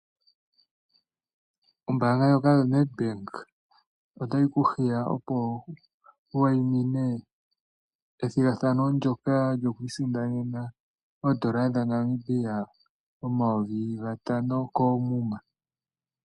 Ombanga ndjoka yoNedbank otayi ku hiya opo wu wayimine ethigathano ndoka lyokwi isindanena omayovi gatano koomuma.